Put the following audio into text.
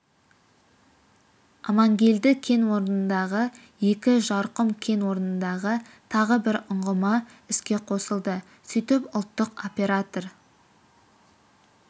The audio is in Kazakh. амангелді кен орнындағы екі жарқұм кен орнындағы тағы бір ұңғыма іске қосылды сөйтіп ұлттық оператор